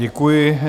Děkuji.